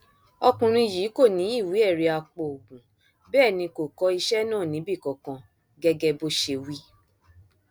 ọkùnrin yìí kò ní ìwé ẹrí apoògùn bẹẹ ni kò kọ iṣẹ náà níbì kankan gẹgẹ bó ṣe wí